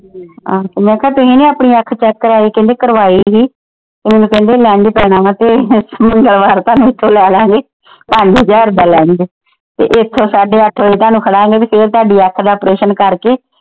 ਆਹੋ ਮੈ ਕਿਹਾ ਤੁਸੀ ਵੀ ਆਪਣੀ ਅੱਖ check ਕਰਾਈ ਕਹਿੰਦੇ ਕਰਵਾਈ ਹੀ ਮੈਨੂੰ ਕਹਿੰਦੇ lens ਪੈਣਾ ਵਾ ਤੇ ਮੰਗਲਵਾਰ ਤੁਹਾਨੂੰ ਲੈਲਾਗੇ। ਪੰਜ ਹਜ਼ਾਰ ਦਾ lens ਤੇ ਇੱਥੋਂ ਸਾਡੇ ਅੱਠ ਵਜੇ ਤੁਹਾਨੂੰ ਖੜਾਂਗੇ ਤੇ ਫਿਰ ਤੁਹਾਡੀ ਅੱਖ ਦਾ operation ਕਰਕੇ।